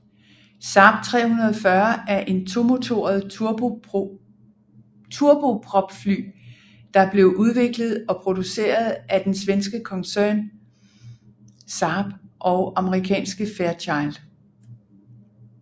Saab 340 er et tomotoret turbopropfly der blev udviklet og produceret af den svenske koncern Saab og amerikanske Fairchild